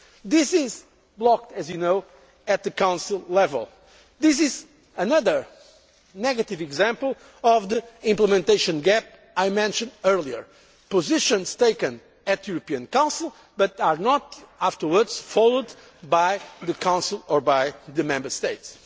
This is blocked, as you know, at Council level. This is another negative example of the implementation gap I mentioned earlier positions that are taken at the European Council but are not afterwards followed up by the Council or by the Member